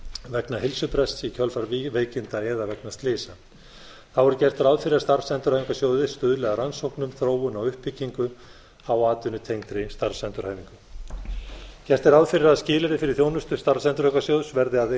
vegna heilsubrests í kjölfar veikinda eða slysa þá er gert ráð fyrir að starfsendurhæfingarsjóðir stuðli að rannsóknum þróun og uppbyggingu á atvinnutengdri starfsendurhæfingu gert er ráð fyrir að skilyrði fyrir þjónustu starfsendurhæfingarsjóðs verði að